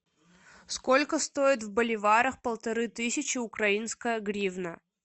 сколько стоит в боливарах полторы тысячи украинская гривна